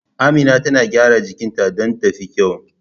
Amina tana gyara jikinta don ta fi kyau.